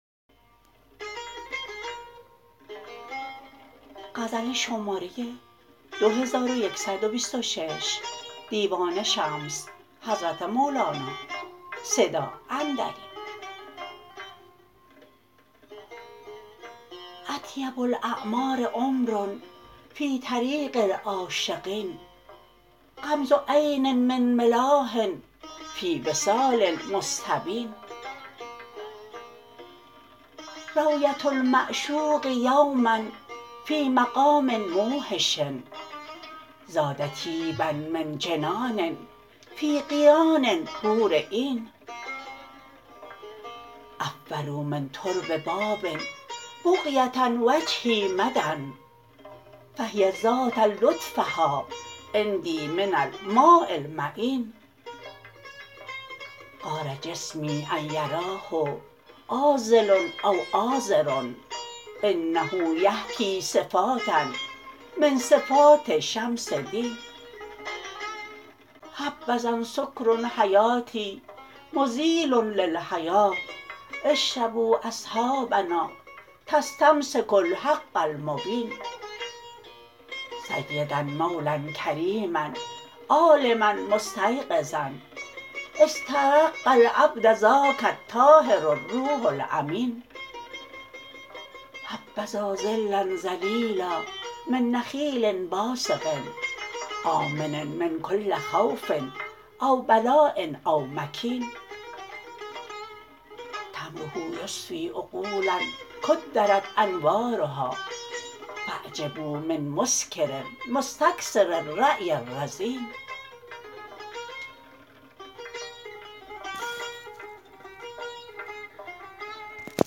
اطیب الاعمار عمر فی طریق العاشقین غمز عین من ملاح فی وصال مستبین رویه المعشوق یوما فی مقام موحش زاد طیبا من جنان فی قیان حور عین عفروا من ترب باب بغیه وجهی مدا فهی زادت لطفها عندی من الماء المعین غار جسمی ان یراه عاذل او عاذر انه یحکی صفاتا من صفات شمس دین حبذا سکر حیاتی مزیل للحیا اشربوا اصحابنا تستمسکوا الحق المبین سیدا مولا کریما عالما مستیقظا استرق العبد ذاک الطاهر الروح الامین حبذا ظلا ظلیلا من نخیل باسق آمن من کل خوف او بلاء او مکین تمره یصفی عقولا کدرت انوارها فاعجبوا من مسکر مستکثر الرای الرزین